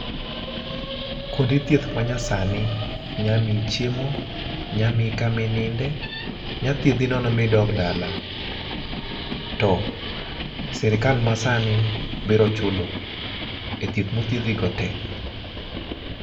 Kuonde thieth manyasani nya miyi chiemo, nya miyi kama ininde, nya thiedhi nono ma idog dala, to sirikal masani biro chulo e thieth ma othiedhi go tee